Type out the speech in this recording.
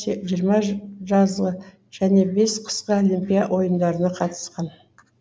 жиырма жазғы және бес қысқы олимпиа ойындарына қатысқан